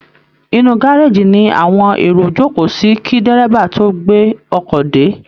Inú gárèjì ni àwọn èrò jókòó sí kí dẹ́rẹ́bà tó gbé ọkọ̀ dé